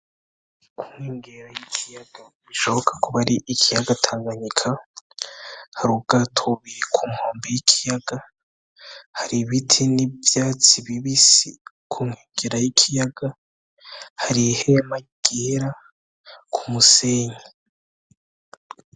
Ku nkengera y'ikiyaga bishoboka kuba ari ikiyaga tanganyika hari ubwato buri ku nkombe y'ikiyaga hari ibiti n'ivyatsi bibisi ku nkengera y'ikiyaga hari ihema ryera ku musenyi